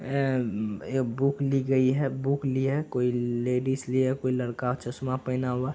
ए म ये बुक ली गई है बुक ली है कोई लेडीज ली है कोई लड़का चश्मा पहना हुआ --